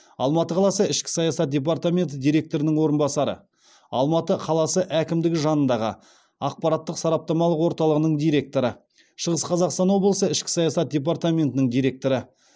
алматы қаласы ішкі саясат департаменті директорының орынбасары алматы қаласы әкімдігі жанындағы ақпараттық сараптамалық орталығының директоры шығыс қазақстан облысы ішкі саясат департаментінің директоры